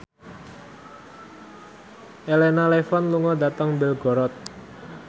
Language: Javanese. Elena Levon lunga dhateng Belgorod